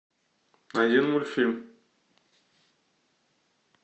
найди мультфильм